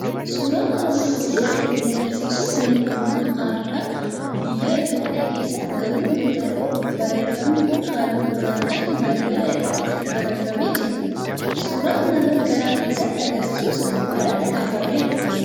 Suuraan armaan olii kan inni argisiisu manaa bunaa aadaa biyya Itoophiyaa keessatti argamuu yoo ta'u, barreeffamni kun halluu gurraachaan balbala irrati barreeffamee jira. Suuraan namaa gara keessaatti argisiisus irratti kaafameera.